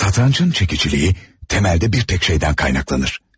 Satrançın çekiciliği temelde bir tek şeydən qaynaqlanır.